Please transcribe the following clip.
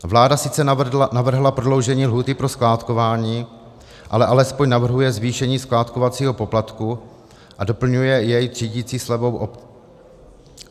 Vláda sice navrhla prodloužení lhůty pro skládkování, ale alespoň navrhuje zvýšení skládkovacího poplatku a doplňuje jej třídicí slevou.